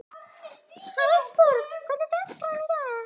Hallborg, hvernig er dagskráin í dag?